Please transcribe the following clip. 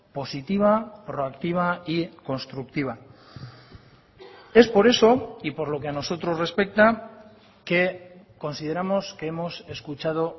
positiva proactiva y constructiva es por eso y por lo que a nosotros respecta que consideramos que hemos escuchado